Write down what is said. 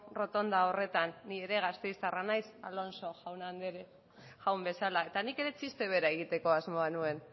errotonda horretan ni ere gasteiztarra naiz alonso jauna bezala eta nik ere txiste bera egiteko asmoa nuen